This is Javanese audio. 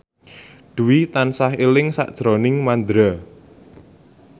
Dwi tansah eling sakjroning Mandra